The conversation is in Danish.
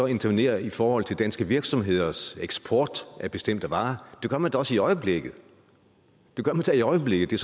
intervenerer i forhold til danske virksomheders eksport af bestemte varer det gør man da også i øjeblikket det gør man da i øjeblikket